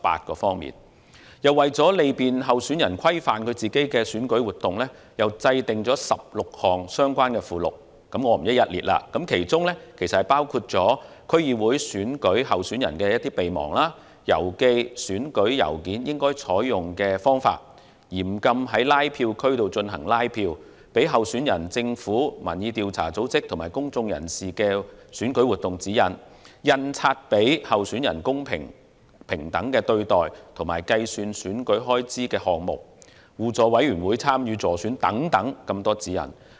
同時，為利便候選人規範選舉活動，亦制訂了16項相關附錄，我不在此逐一讀出，但涵蓋事宜包括區議會選舉候選人備忘、郵寄選舉郵件應採用的方法、嚴禁在禁止拉票區進行拉票、給候選人、政府部門、民意調查組織及公眾人士的選舉活動指引、印刷傳媒給予候選人公平及平等的對待，以及會被計算為選舉開支的項目、互助委員會參與助選活動事宜的指引等。